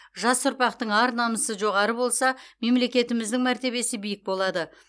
жас ұрпақтың ар намысы жоғары болса мемлекетіміздің мәртебесі биік болады